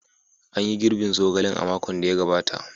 An yi girbin zogalen a makon da ya gabata.